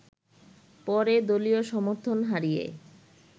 পরে দলীয় সমর্থন হারিয়ে